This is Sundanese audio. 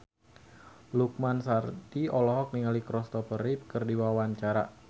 Lukman Sardi olohok ningali Kristopher Reeve keur diwawancara